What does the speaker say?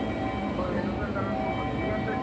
হয়, এনেকুৱা কাৰণেও হয় ইহঁতে